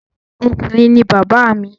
Ọkùnrin ni bàbá mi.